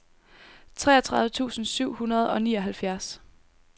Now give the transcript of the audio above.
treogtredive tusind syv hundrede og nioghalvfjerds